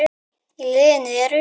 Í liðinu eru